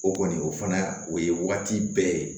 O kɔni o fana o ye waati bɛɛ ye